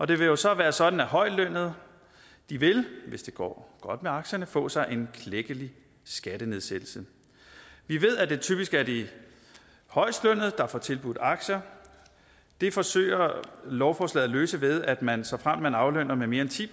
det vil jo så være sådan at højtlønnede hvis det går godt med aktierne vil få sig en klækkelig skattenedsættelse vi ved at det typisk er de højestlønnede der får tilbudt aktier det forsøger lovforslaget at løse ved at man såfremt man aflønner med mere end ti